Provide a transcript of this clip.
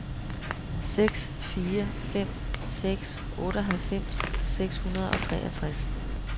seks fire fem seks otteoghalvfems seks hundrede og toogtres